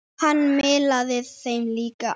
Hann miðlaði þeim líka áfram.